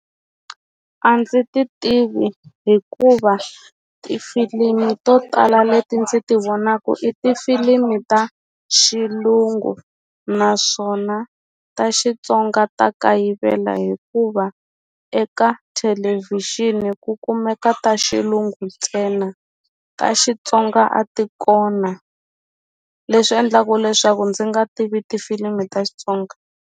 A ndzi ti tivi hikuva tifilimi to tala leti ndzi ti vonaku i tifilimi ta xilungu naswona ta Xitsonga ta kayivela hikuva eka thelevhixini ku kumeka ta xilungu ntsena ta Xitsonga a ti kona leswi endlaku leswaku ndzi nga tivi tifilimi ta Xitsonga.